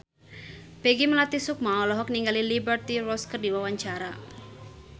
Peggy Melati Sukma olohok ningali Liberty Ross keur diwawancara